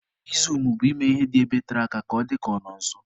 Izumu bụ ime ihe dị ebe tere aka ka ọ dịka ọ nọ nso.